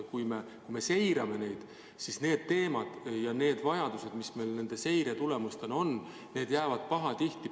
Kui me seirame neid, siis käsitletavad teemad ja vajadused, mis seiretulemustena selguvad, jäävad pahatihti täitmata.